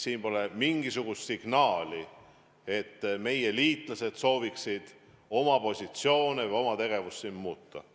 Pole mingisugust signaali, et meie liitlased sooviksid oma positsioone või oma tegevust siin muuta.